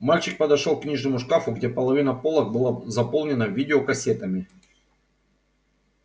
мальчик подошёл к книжному шкафу где половина полок была заполнена видеокассетами